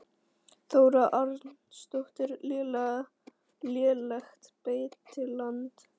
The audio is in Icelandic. Þóra Arnórsdóttir: Lélegt beitiland?